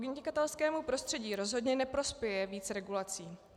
Podnikatelskému prostředí rozhodně neprospěje víc regulací.